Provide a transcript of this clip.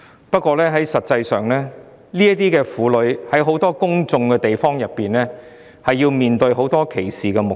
不過，實際上，這些婦女在很多公眾場所餵哺母乳時要面對很多歧視目光。